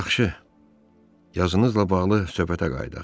Yaxşı, yazınızla bağlı söhbətə qayıdaq.